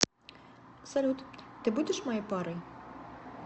салют ты будешь моей парой